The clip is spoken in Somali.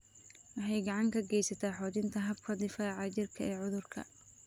Waxay gacan ka geysataa xoojinta habka difaaca jirka ee cudurrada.